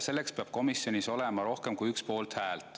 Selleks peab komisjonis olema rohkem kui üks poolthääl.